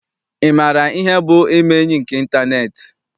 Ị maara ihe bụ ime enyi nke ịntaneetị?